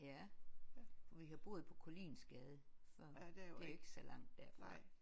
Ja for vi har boet på Koliinsgade før det er jo ikke så langt derfra